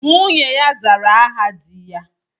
Nwunye ya zara aha dị ya